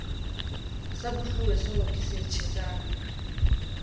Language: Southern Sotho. sa bosuwehlooho ke se tjhesang